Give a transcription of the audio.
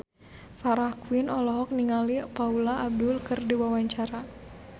Farah Quinn olohok ningali Paula Abdul keur diwawancara